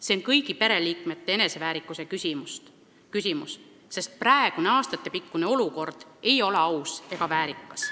See on kõigi pereliikmete eneseväärikuse küsimus, sest praegune aastatepikkune olukord ei ole aus ega väärikas.